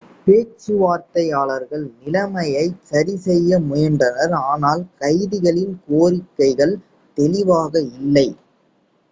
பேச்சுவார்த்தையாளர்கள் நிலைமையைச் சரிசெய்ய முயன்றனர் ஆனால் கைதிகளின் கோரிக்கைகள் தெளிவாக இல்லை